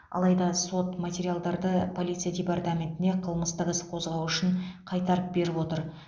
алайда сот материалдарды полиция департаментіне қылмыстық іс қозғау үшін қайтарып беріп отыр